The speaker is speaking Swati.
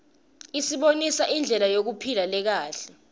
isibonisa indlela yekuphila lekahle